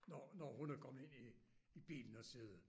Når når hun er kommet ind i i bilen og sidde